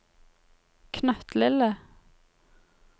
knøttlille